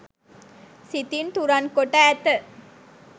සිතින් තුරන් කොට ඇත.